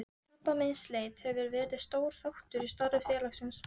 Krabbameinsleit hefur verið stór þáttur í starfi félagsins.